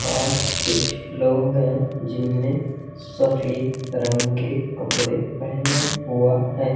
और कुछ लोग हैं जिनने सफेद रंग के कपड़े पहने हुआ है।